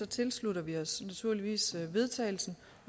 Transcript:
tilslutter vi os naturligvis forslaget vedtagelse